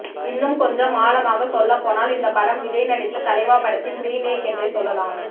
இன்னும் கொஞ்சம் ஆழமாக சொல்லப்போனால் இந்த படம் விஜய் நடித்த தலைவா படத்தின் ரீமேக் என்றே சொல்லலாம்